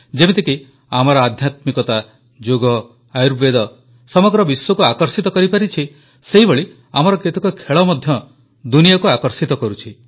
ଯେମିତିକି ଆମର ଆଧ୍ୟାତ୍ମିକତା ଯୋଗ ଆୟୁର୍ବେଦ ସମଗ୍ର ବିଶ୍ୱକୁ ଆକର୍ଷିତ କରିପାରିଛି ସେହିଭଳି ଆମର କେତେକ ଖେଳ ମଧ୍ୟ ଦୁନିଆକୁ ଆକର୍ଷିତ କରୁଛି